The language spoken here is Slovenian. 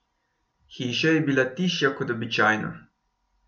Hiša je bila tišja kot običajno.